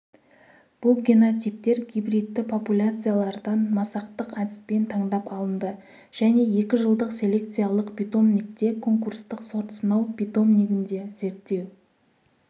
бұл генотиптер гибридті популяциялардан масақтық әдіспен таңдап алынды және екі жылдық селекциялық питомникте конкурстық сортсынау питомнигінде зерттеу